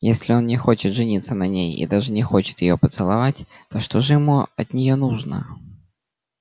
если он не хочет жениться на ней и даже не хочет её поцеловать то что же ему от нее нужно